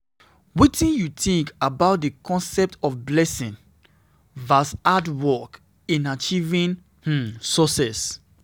Wetin you think about di concept of blessing vs. hard work in achieving [um]success?